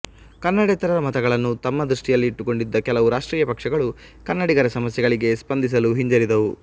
ಕನ್ನಡೇತರರ ಮತಗಳನ್ನು ತಮ್ಮ ದೃಷ್ಟಿಯಲ್ಲಿ ಇಟ್ಟುಕೊಂಡಿದ್ದ ಕೆಲವು ರಾಷ್ಟ್ರೀಯ ಪಕ್ಷಗಳು ಕನ್ನಡಿಗರ ಸಮಸ್ಯೆಗಳಿಗೆ ಸ್ಪಂದಿಸಲು ಹಿಂಜರಿದವು